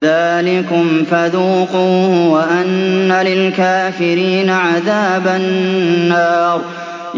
ذَٰلِكُمْ فَذُوقُوهُ وَأَنَّ لِلْكَافِرِينَ عَذَابَ النَّارِ